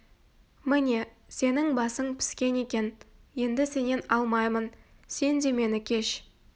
міне сенің басың піскен екен енді сенен алмаймын сен де мені кеш